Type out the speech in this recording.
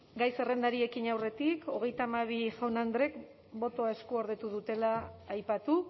gai zerrendari ekin aurretik hogeita hamabi jaun andreek botoa eskuordetu dutela aipatu